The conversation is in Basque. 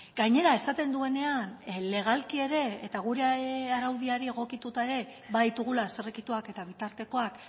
gainera esaten duenean legalki ere eta gure araudiari egokituta ere baditugula zirrikituak eta bitartekoak